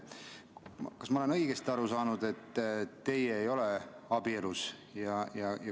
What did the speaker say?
Kas ma olen õigesti aru saanud, et teie ei ole abielus?